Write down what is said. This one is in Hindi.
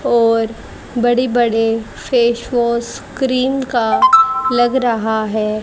और बड़े बड़े फेस वॉश क्रीम का लग रहा है।